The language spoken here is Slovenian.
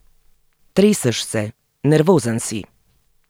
Treseš se, nervozen si.